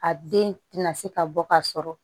A den tɛna se ka bɔ ka sɔrɔ